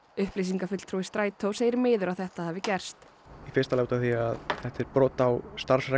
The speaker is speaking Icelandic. upplýsingafulltrúi Strætó segir miður að þetta hafi gerst í fyrsta lagi því þetta er brot á starfsreglum